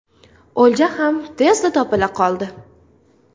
O‘lja ham tezda topila qoldi.